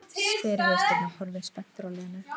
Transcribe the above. spyr Vésteinn og horfir spenntur á Lenu.